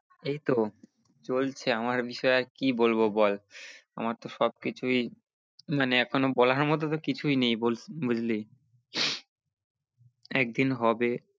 এই তো চলছে আমার বিষয়ে আর কি বলবো বল আমার তো সব কিছুই মানে এখনো বলার মতো তো কিছুই নেই বুঝ~ বুঝলি একদিন হবে